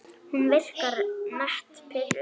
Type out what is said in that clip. Hún virkar nett pirruð.